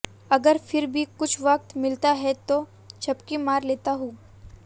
अगर फिर भी कुछ वक्त मिलता है तो झपकी मार लेता हूं